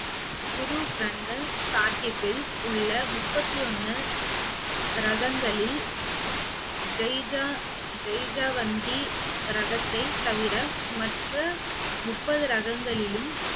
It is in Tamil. குரு கிரந்த சாஹிப்பில் உள்ள முப்பத்தி ஒண்ணு ராகங்களில் ஜெய்ஜா~ ஜெய்ஜாவந்தி ராகத்தை தவிர மற்ற முப்பது ராகங்களிலும்